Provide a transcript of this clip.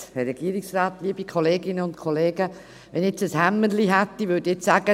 Wenn ich jetzt ein Hämmerchen hätte, würde ich jetzt sagen: